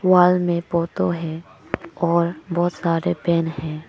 Wall में photo हैं और बहोत सारे फैन है।